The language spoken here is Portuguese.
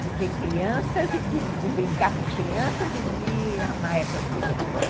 de ter crianças, de brincar com crianças e de amar essas crianças.